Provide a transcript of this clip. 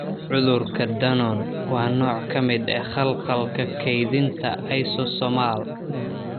Cudurka Danon waa nooc ka mid ah khalkhalka kaydinta lysosomal.